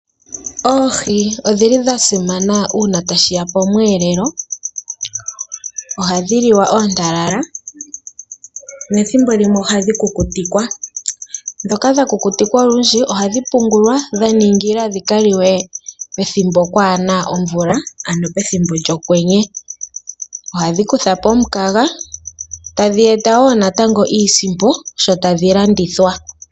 Oohi ondhili dha simana uuna tashiya pomweelelo, ohadhi liwa oontalala nethimbo limwe ohadhi kukutikwa, ndhoka dha kukutikwa olundji ohadhi pungulwa dha ningilwa dhi ka liwe pethimbo pwaana omvula ano pethimbo lyokwenye ohadhi kutha po omukaga tadhi eta woo iisimpo sho tadhi landithwa.